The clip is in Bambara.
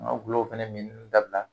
An ga gulɔw fɛnɛ mini dabila